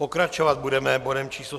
Pokračovat budeme bodem číslo